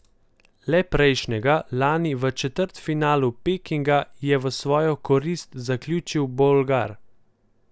Le prejšnjega, lani v četrtfinalu Pekinga, je v svojo korist zaključil Bolgar.